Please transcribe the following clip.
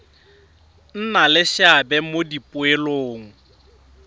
nna le seabe mo dipoelong